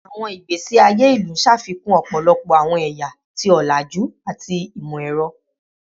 Awọn igbesi aye ilu ṣafikun ọpọlọpọ awọn ẹya ti olaju ati imọ-ẹrọ